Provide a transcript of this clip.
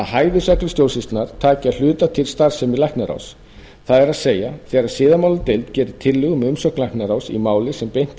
hæfisreglur stjórnsýslunnar taki að hluta til starfsemi læknaráðs það er þegar siðamáladeild gerir tillögu um umsögn læknaráðs í máli sem beint er